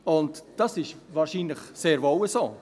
Und das ist wahrscheinlich sehr wohl so.